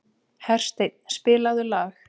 Hersteinn, spilaðu lag.